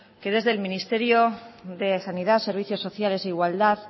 que desde el ministerio de sanidad servicios sociales e igualdad